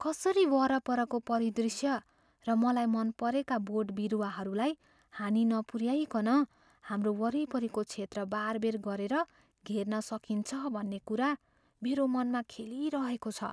कसरी वरपरको परिदृश्य र मलाई मन परेका बोटबिरुवाहरूलाई हानि नपुऱ्याइकन हाम्रो वरिपरिको क्षेत्र बारबेर गरेर घेर्न सकिन्छ भन्ने कुरा मेरो मनमा खेलिरहेको छ।